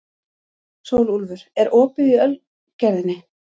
Sólúlfur, er opið í Ölgerðinni?